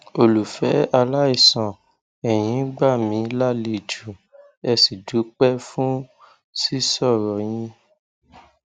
olùfẹ aláìsàn ẹyin gbà mí lálejò ẹ sì dúpẹ fún sísọrọ yín